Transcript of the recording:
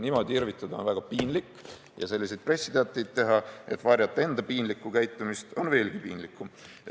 Niimoodi irvitada on väga piinlik ja selliseid pressiteateid teha, et varjata enda piinlikku käitumist, on veelgi piinlikum.